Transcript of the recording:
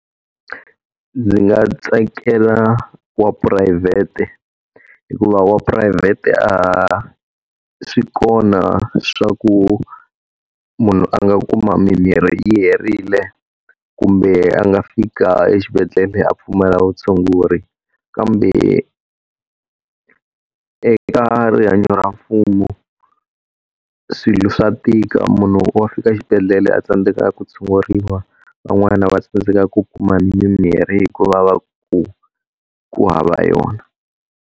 Ndzi nga tsakela wa phurayivhete hikuva wa phurayivhete a swi kona swa ku munhu a nga kuma mimirhi herile, kumbe a nga fika exibedhela a pfumala vutshunguri. Kambe eka rihanyo ra mfumo, swilo swa tika. Munhu wa fika xibedhlele a tsandzeka ku tshunguriwa, van'wana va tsandzeka ku kuma mimirhi hikuva va ku ku hava yona.